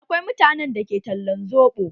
Akwai mutanen da ke talan soɓo.